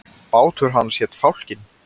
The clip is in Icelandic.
Bátur hans hét Fálkinn.